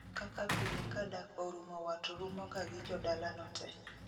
Kaka pile ka dak orumo wat rumo ga gi jodala no te